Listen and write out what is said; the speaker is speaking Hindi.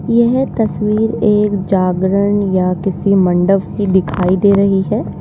यह तस्वीर एक जागरण या किसी मंडप की दिखाई दे रही है।